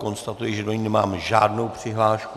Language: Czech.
Konstatuji, že do ní nemám žádnou přihlášku.